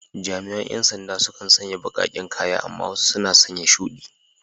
Jami’an ‘yan sanda sukan sanya baƙaƙen kaya amma wasu suna sanya shudi.